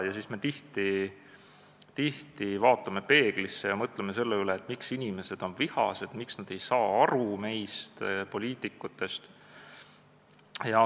Ja siis me tihti vaatame peeglisse ja mõtleme selle üle, miks inimesed on vihased, miks nad ei saa aru meist, poliitikutest.